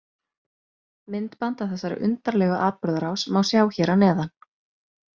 Myndband af þessari undarlegu atburðarás má sjá hér að neðan.